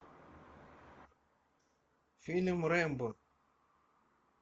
фильм рэмбо